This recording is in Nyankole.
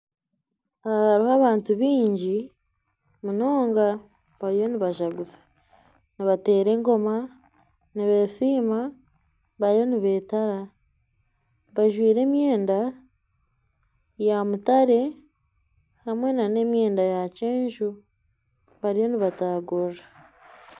Abantu baingi munonga bariyo nibazaguza nibateera engoma nibesiima bariyo nibetara bajwaire emyenda ya mutare hamwe nana emyenda ya kyenju bariyo nibatagurira